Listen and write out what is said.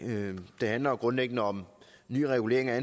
det handler jo grundlæggende om ny regulering af